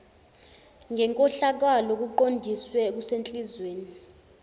ngenkohlakalo kuqondiswe ekuzehliseni